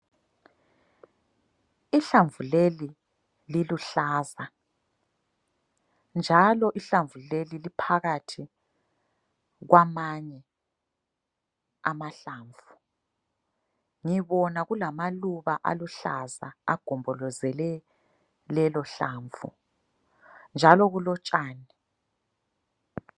Ihlamvu leli liluhlaza njalo ihlamvu leli liphakathi kwamanye amahlamvu ,ngibona kulamaluba aluhlaza angombolozele lelo hlamvu , njalo kulotshani